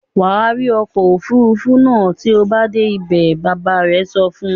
"Wà rí ọkọ̀-òfurufú náà tí o bá dé ibẹ̀!" Bàbá rẹ̀ sọ fún un.